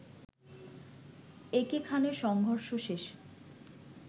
একে খানে সংঘর্ষ শেষ